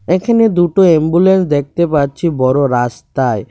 এখানে দুটো এম্বুলেন্স দেখতে পাচ্ছি বড় রাস্তায়।